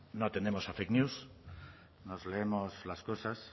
no tendemos a fake news nos leemos las cosas